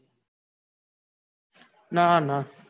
ના ના